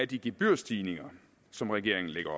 de gebyrstigninger som regeringen lægger